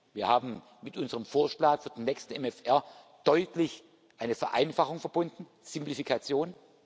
Wir haben mit unserem Vorschlag für den nächsten MFR deutlich eine Vereinfachung verbunden Simplifikation.